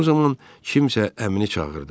Bu zaman kimsə əmini çağırdı.